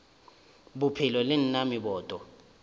bophelo le na le meboto